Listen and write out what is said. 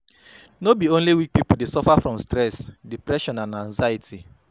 No bi only weak pipo dey suffer from stress, depression, and anxiety